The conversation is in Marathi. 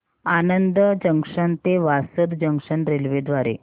आणंद जंक्शन ते वासद जंक्शन रेल्वे द्वारे